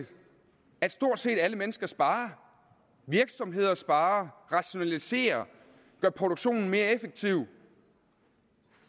at stort set alle mennesker sparer virksomheder sparer rationaliserer og gør produktionen mere effektiv